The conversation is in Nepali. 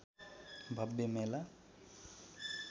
भव्य मेला